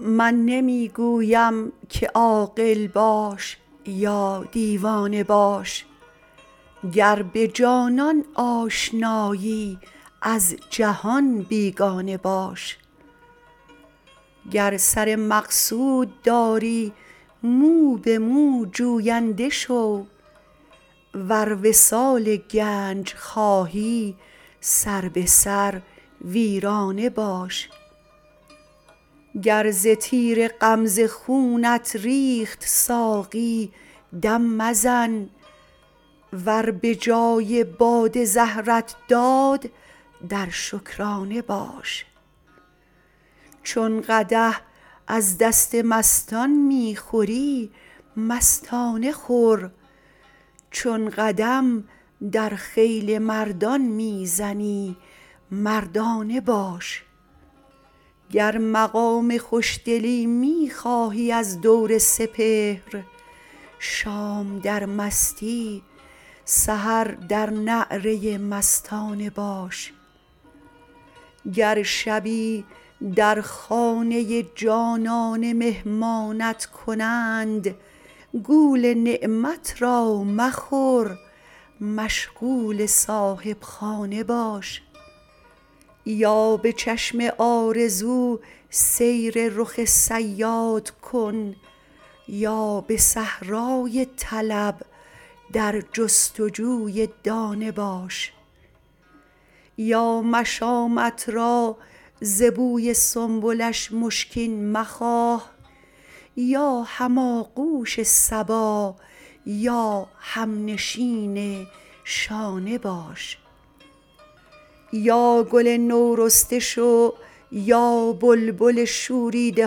من نمی گویم که عاقل باش یا دیوانه باش گر به جانان آشنایی از جهان بیگانه باش گر سر مقصود داری مو به مو جوینده شو ور وصال گنج خواهی سر به سر ویرانه باش گر ز تیر غمزه خونت ریخت ساقی دم مزن ور به جای باده زهرت داد در شکرانه باش چون قدح از دست مستان می خوری مستانه خور چون قدم در خیل مردان می زنی مردانه باش گر مقام خوش دلی می خواهی از دور سپهر شام در مستی سحر در نعره مستانه باش گر شبی در خانه جانانه مهمانت کنند گول نعمت را مخور مشغول صاحب خانه باش یا به چشم آرزو سیر رخ صیاد کن یا به صحرای طلب در جستجوی دانه باش یا مشامت را ز بوی سنبلش مشکین مخواه یا هم آغوش صبا یا هم نشین شانه باش یا گل نورسته شو یا بلبل شوریده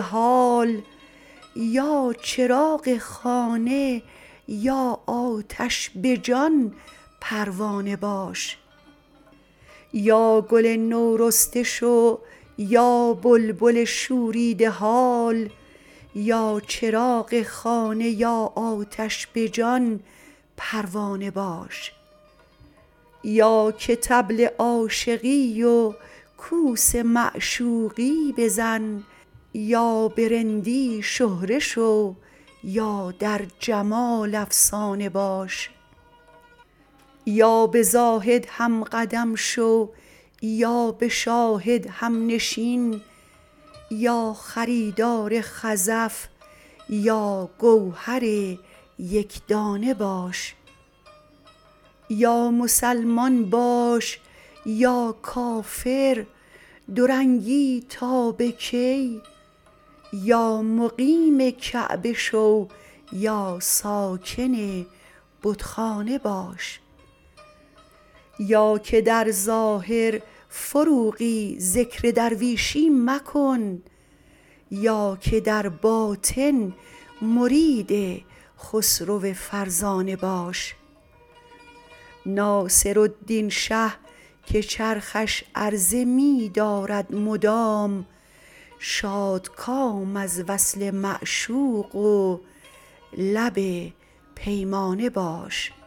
حال یا چراغ خانه یا آتش به جان پروانه باش یا که طبل عاشقی و کوس معشوقی بزن یا به رندی شهره شو یا در جمال افسانه باش یا به زاهد هم قدم شو یا به شاهد هم نشین یا خریدار خزف یا گوهر یک دانه باش یا مسلمان باش یا کافر دورنگی تا به کی یا مقیم کعبه شو یا ساکن بت خانه باش یا که در ظاهر فروغی ذکر درویشی مکن یا که در باطن مرید خسرو فرزانه باش ناصرالدین شه که چرخش عرضه می دارد مدام شادکام از وصل معشوق و لب پیمانه باش